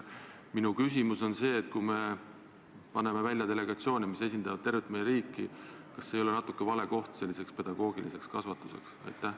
Minu küsimus on see: kui me saadame välja delegatsioone, mis esindavad tervet meie riiki, siis kas see ei ole natuke vale koht selliseks pedagoogiliseks kasvatuseks?